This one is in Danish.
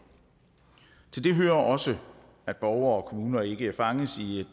til det hører også at borgere og kommuner ikke fanges i et